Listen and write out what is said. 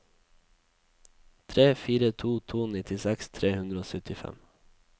tre fire to to nittiseks tre hundre og syttifem